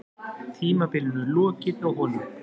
Tímabilinu lokið hjá honum